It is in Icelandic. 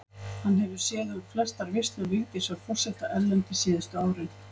Hann hefur séð um flestar veislur Vigdísar forseta erlendis síðustu árin.